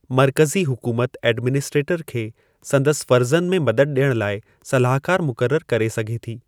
मर्कज़ी हुकूमत ऐडमिनिस्ट्रेटरु खे संदसि फ़र्ज़नि में मदद ॾियणु लाइ सलाहकारु मुक़ररु करे सघे थी।